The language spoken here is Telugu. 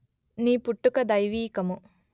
నీ పుట్టుక దైవీకము